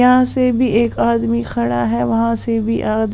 यहां से भी एक आदमी खड़ा है वहां से भी आदमी।